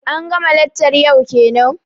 an ga ma laccar yau kenan?